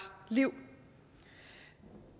liv